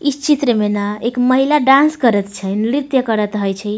इस चित्र में ना एक महिला डांस करेएत छै नृत्य करएत हेय छै।